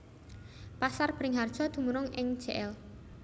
Pasar Beringharjo dumunung ing Jl